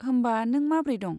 होमबा, नों माब्रै दं?